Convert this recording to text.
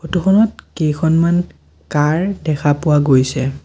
Photo খনত কেইখনমান কাৰ দেখা পোৱা গৈছে।